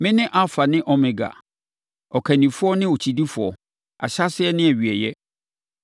Mene Alfa ne Omega, Ɔkannifoɔ ne Okyidifoɔ, Ahyɛaseɛ ne Awieeɛ.